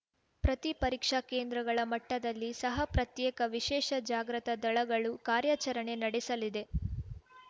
ಪ್ರತಿ ಪರೀಕ್ಷಾ ಕೇಂದ್ರಗಳ ಮಟ್ಟದಲ್ಲಿ ಸಹ ಪ್ರತ್ಯೇಕ ವಿಶೇಷ ಜಾಗೃತ ದಳಗಳು ಕಾರ್ಯಾಚರಣೆ ನಡೆಸಲಿದೆ